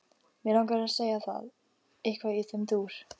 Langar að segja það, eitthvað í þeim dúr.